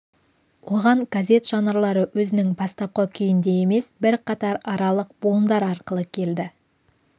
оған газет жанрлары өзінің бастапқы күйінде емес бірқатар аралық буындар арқылы келді